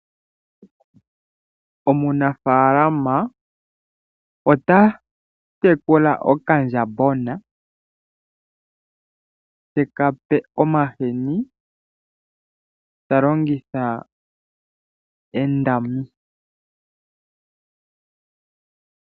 Omunafaalama ota tekula okandjambana te kape omahini ta longitha endami.